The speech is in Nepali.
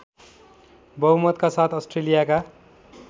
बहुमतका साथ अस्ट्रेलियाका